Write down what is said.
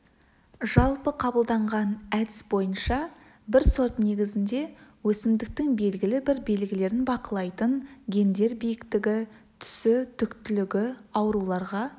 жалпы қабылданған әдіс бойынша бір сорт негізінде өсімдіктің белгілі бір белгілерін бақылайтын гендер биіктігі түсі түктілігі ауруларға